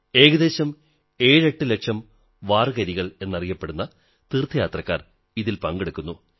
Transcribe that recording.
ഏകദേശം 78 ലക്ഷം വാർകരികൾ എന്നറിയപ്പെടുന്ന തീർഥയാത്രക്കാർ ഇതിൽ പങ്കെടുക്കുന്നു